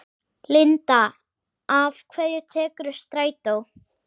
Linda: Af hverju tekurðu strætó?